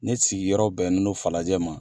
Ne sigi yɔrɔ bɛ n no falajɛ ma